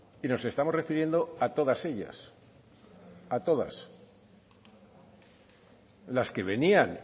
y nos estamos refiriendo a todas ellas a todas las que venían